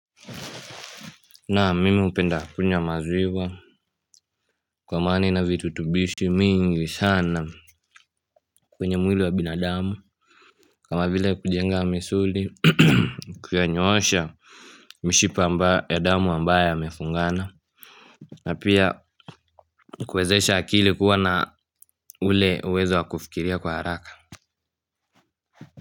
Nam mimi hupenda kunywa maziwa kwa maana ina virutubishi mingi sana kwenye mwili wa binadamu. Kama vile kujenga misuli kuyanyoosha mishipa ya damu ambayo yamefungana. Na pia kuwezesha akili kuwa na ule uwezo wa kufikiria kwa haraka.